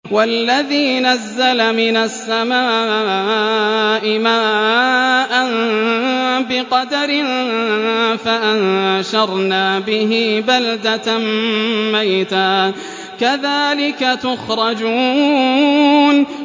وَالَّذِي نَزَّلَ مِنَ السَّمَاءِ مَاءً بِقَدَرٍ فَأَنشَرْنَا بِهِ بَلْدَةً مَّيْتًا ۚ كَذَٰلِكَ تُخْرَجُونَ